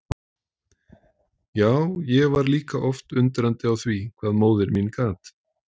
Já, ég var líka oft undrandi á því hvað móðir mín gat.